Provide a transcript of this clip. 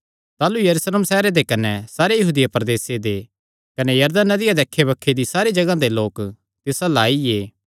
ताह़लू यरूशलेम सैहरे दे कने सारे यहूदिया प्रदेसे दे कने यरदन नदिया दे अक्खैबक्खे दी सारी जगांह दे लोक तिस अल्ल आईये